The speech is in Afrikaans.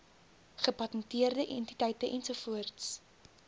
gepatenteerde entiteite ens